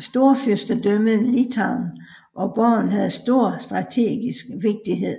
Storfyrstendømmet Litauen og borgen havde stor strategisk vigtighe